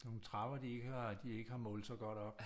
Nogle trapper de ikke har de ikke har målt så godt op